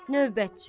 Növbətçi: